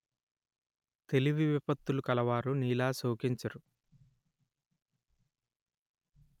తెలివి విపత్తులు కలవారు నీలా శోకించరు